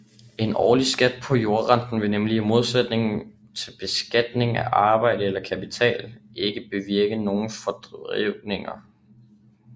En årlig skat på jordrenten vil nemlig i modsætning til beskatning af arbejde eller kapital ikke bevirke nogen forvridninger